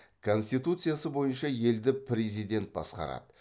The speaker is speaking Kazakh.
конституциясы бойынша елді президент басқарады